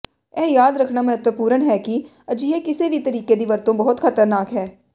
ਇਹ ਯਾਦ ਰੱਖਣਾ ਮਹੱਤਵਪੂਰਣ ਹੈ ਕਿ ਅਜਿਹੇ ਕਿਸੇ ਵੀ ਤਰੀਕੇ ਦੀ ਵਰਤੋਂ ਬਹੁਤ ਖਤਰਨਾਕ ਹੈ